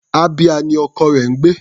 Abia ni ọkọ rẹ̀ ń gbé.